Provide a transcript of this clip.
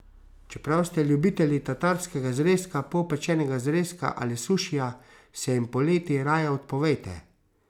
Čeprav ste ljubitelji tatarskega zrezka, polpečenega zrezka ali sušija, se jim poleti raje odpovejte.